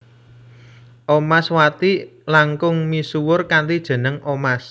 Omaswati langkung misuwur kanthi jeneng Omas